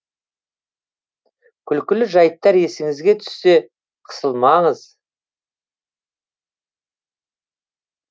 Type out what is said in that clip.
күлкілі жайттар есіңізге түссе қысылмаңыз